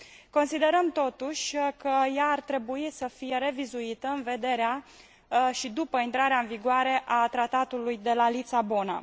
considerăm, totuși, că ea ar trebui să fie revizuită în vederea, și după intrarea în vigoare a Tratatului de la Lisabona.